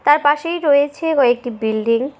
তার পাশেই রয়েছে কয়েকটি বিল্ডিং ।